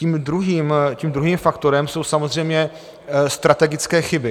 Tím druhým faktorem jsou samozřejmě strategické chyby.